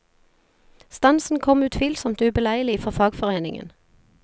Stansen kom utvilsomt ubeleilig for fagforeningen.